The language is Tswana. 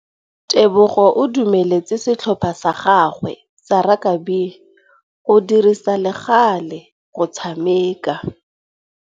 Tebogô o dumeletse setlhopha sa gagwe sa rakabi go dirisa le galê go tshameka.